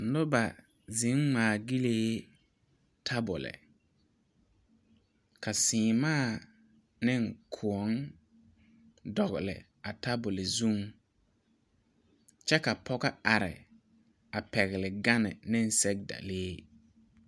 Noba zeŋ ŋmaa gyilii tabuli ka seemaa ne kõɔ dogli a tabuli zuŋ kyɛ ka pɔge are pɛgle gane ne sɛgedalee.